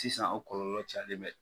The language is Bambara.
Sisan o kɔlɔlɔ calen bɛ.